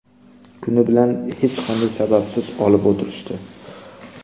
Kuni bilan hech qanday sababsiz olib o‘tirishdi.